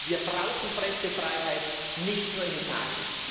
Wir brauchen Pressefreiheit, nicht nur in Italien!